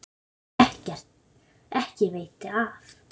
Ekki veiti af.